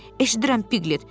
“Eşidirəm, Piklet.”